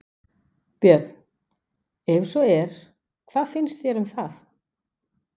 Björn: Ef svo er, hvað finnst þér um það?